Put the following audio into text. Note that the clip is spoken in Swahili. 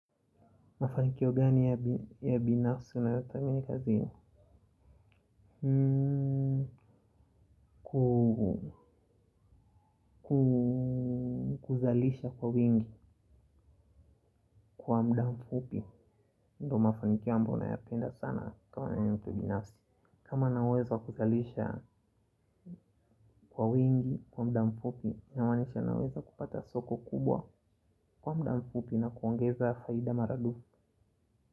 Mafanikio gani ya binafsi unayothamini kazini. Kuzalisha kwa wingi kwa muda mfupi. Ndo mafanikio ambayo nayapenda sana kama ya mtu binafsi. Kama nina uwezo wa kuzalisha kwa wingi kwa muda mfupi inamaanisha naweza kupata soko kubwa kwa muda mfupi na kuongeza faida mara dufu.